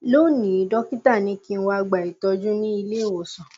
lónìí dọkítà ní kí n wá gba ìtọjú ní ilé ìwòsàn